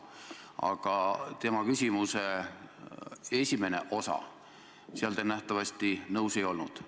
Aga tema esimeses küsimuses kõlanud hinnanguga te nagu nõus ei olnud.